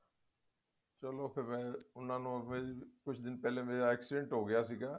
ਚਲੋ ਫ਼ੇਰ ਉਹਨਾਂ ਨੂੰ ਕੁਝ ਦਿਨ ਪਹਿਲੇ ਮੇਰਾ accident ਹੋਗਿਆ ਸੀਗਾ